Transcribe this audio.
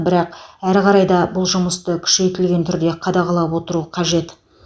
бірақ әрі қарай да бұл жұмысты күшейтілген түрде қадағалап отыру қажет